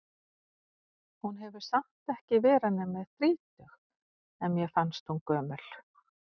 Hún hefur samt ekki verið nema þrítug, en mér fannst hún gömul.